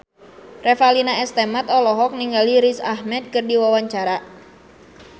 Revalina S. Temat olohok ningali Riz Ahmed keur diwawancara